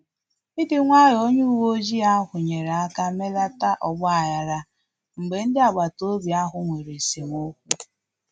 Ịdị nwayọ onye uwe ojii ahụ nyere aka melata ọgba aghara mgbe ndị agbata obi ahụ nwere esemokwu